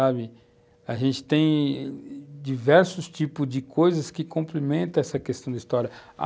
Sabe? A gente tem diversos tipos de coisas que cumprimentam essa questão da história, a